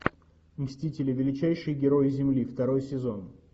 мстители величайшие герои земли второй сезон